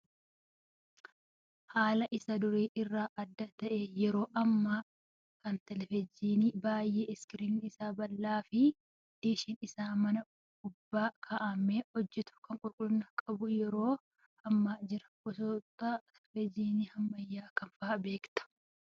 Haala isa durii irraa adda ta'een yeroo ammaa kana televezyiinii baay'ee iskiriiniin isaa babal'aa fi diishiin isaa mana gubbaa kaa'amee hojjatu kan qulqullina qabuu yeroo ammaa jira. Gosoota televezyiinii ammayyaa kam fa'aa beektaa?